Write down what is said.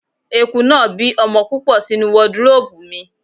Eku náà bí ọmọ púpọ̀ sínú wọdróòpù mi.